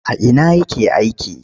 A ina yake aiki?